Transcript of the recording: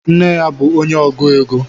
Nne ya bu onye ọgụ égo